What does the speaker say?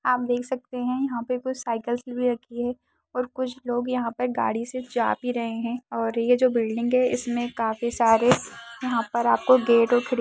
आप देख सकते हैं यहाँ पे कुछ साइकल्स भी रखी हैं और कुछ लोग यहाँ पे गाड़ी से जा भी रहे हैं और ये जो बिल्डिंग है इसमें काफी सारे यहाँ पर आपको गेट और खिड़ --